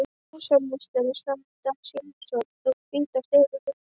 Húsameistari sá í dag sýnishornin úr hvíta steininum.